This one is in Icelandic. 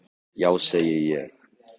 Já segi ég.